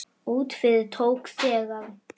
Út yfir tók þegar